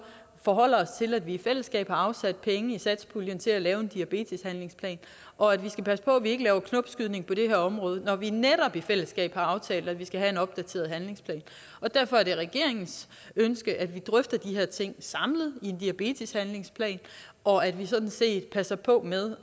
forholder os til at vi i fællesskab har afsat penge i satspuljen til at lave en diabeteshandlingsplan og at vi skal passe på at vi ikke laver knopskydning på det her område når vi netop i fællesskab har aftalt at vi skal have en opdateret handlingsplan derfor er det regeringens ønske at vi drøfter de her ting samlet i en diabeteshandlingsplan og at vi sådan set passer på med